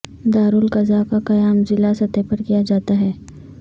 دارالقضا کا قیام ضلع سطح پر کیا جاتا ہے